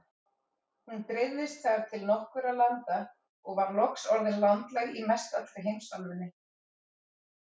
Hún dreifðist þar til nokkurra landa og var loks orðin landlæg í mestallri heimsálfunni.